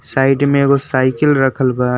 Side में एगो cycle रखल बा।